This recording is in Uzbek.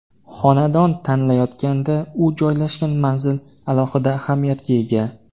Xonadon tanlayotganda u joylashgan manzil alohida ahamiyatga ega.